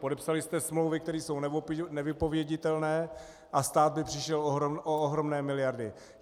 Podepsali jste smlouvy, které jsou nevypověditelné, a stát by přišel o ohromné miliardy.